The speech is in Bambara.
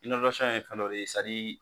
ye fɛn dɔ de